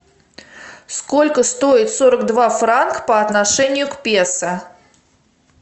сколько стоит сорок два франк по отношению к песо